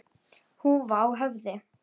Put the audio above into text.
Húfa á höfði.